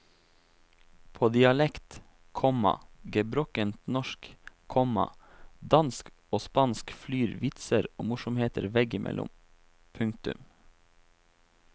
På dialekt, komma gebrokkent norsk, komma dansk og spansk flyr vitser og morsomheter veggimellom. punktum